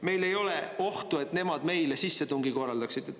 Meil ei ole ohtu, et nemad meile sissetungi korraldaks.